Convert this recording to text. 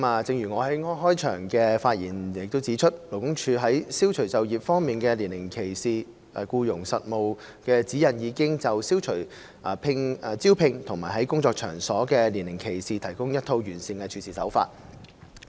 正如我在開場發言指出，勞工處在《消除就業方面的年齡歧視》僱傭實務指引已就消除招聘和在工作場所中的年齡歧視提供一套完善的處事方法。